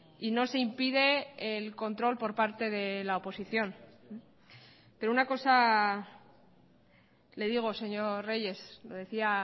y no se impide el control por parte de la oposición pero una cosa le digo señor reyes lo decía